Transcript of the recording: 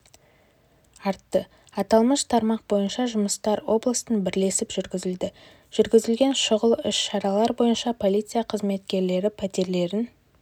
артты аталмыш тармақ бойынша жұмыстар облыстық бірлесіп жүргізілді жүргізілген шұғыл іс-шаралар бойынша полиция қызметкерлері пәтерлерін